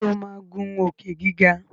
Ṣe o má ngun Òkè-gíga.